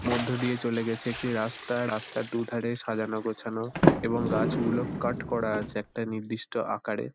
মধ্যে দিয়ে চলে গেছে একটি রাস্তা। রাস্তার দু-ধারে সাজানো-গোছানো এবং গাছগুলো কাট করা আছে একটা নির্দিষ্ট আকারে।